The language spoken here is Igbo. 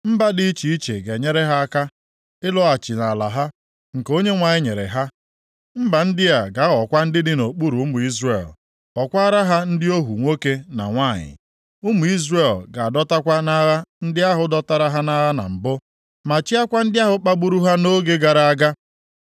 Mba dị iche iche ga-enyere ha aka ịlọghachi nʼala ha, nke Onyenwe anyị nyere ha. Mba ndị a ga-aghọkwa ndị dị nʼokpuru ụmụ Izrel, ghọọkwara ha ndị ohu nwoke na nwanyị. Ụmụ Izrel ga-adọtakwa nʼagha ndị ahụ dọtara ha nʼagha na mbụ, ma chịakwa ndị ahụ kpagburu ha nʼoge gara aga.